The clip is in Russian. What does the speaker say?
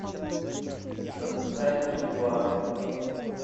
запускай мгла